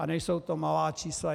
A nejsou to malá čísla.